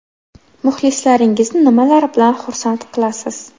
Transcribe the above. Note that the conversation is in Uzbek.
Muxlislaringizni nimalar bilan xursand qilasiz?